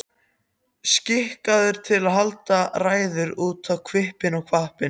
Skikkaður til að halda ræður út um hvippinn og hvappinn.